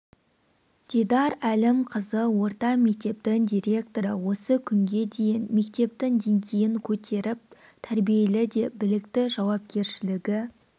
дидар әлімқызы орта мектептің директоры осы күнге дейін мектептің деңгейін көтеріп тәрбиелі де білікті жауапкершілігі